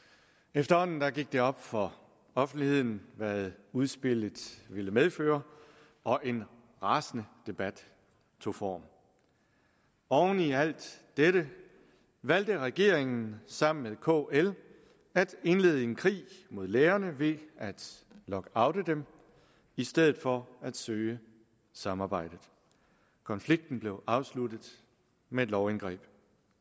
efterhånden gik det op for offentligheden hvad udspillet ville medføre og en rasende debat tog form oven i alt dette valgte regeringen sammen med kl at indlede en krig mod lærerne ved at lockoute dem i stedet for at søge samarbejde konflikten blev afsluttet med et lovindgreb